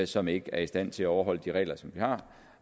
som ikke er i stand til at overholde de regler som vi har